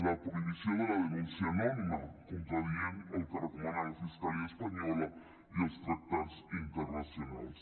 la prohibició de la denúncia anònima contradient el que recomana la fiscalia espanyola i els tractats internacionals